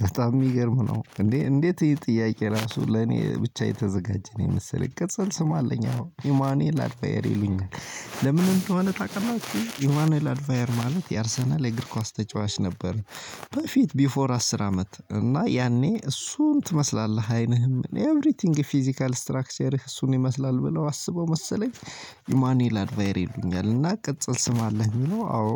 በጣም የሚገርም ነው እንዴ እንዴት ይሄ ጥያቄ ራሱ ለኔ ብቻ የተዘጋጀ ነው የመሰለኝ ቅጽል ስም አለኝ። አዎ ኢማኑኤል አልፋየር ይሉኛል ለምን እንደሆነ ታውቃላችሁ? ኢማኑኤል አልፋየር ማለት የአርሰናል እግር ኳስ ተጫዋች ነበር። በፊት ቢፎር አስር አመት እና ያኔ እሱን ትመስላለህ አይንህ ሁሉ ኢቭሪ ቲንግ ፊዚካል እስትራክቸርህ እሱን ይመስላል ብለው ነው መሰለኝ። ኢማኑኤል አልፋየር ይሉኛል እና ቅጽል ስም አለህ የሚለው አዎ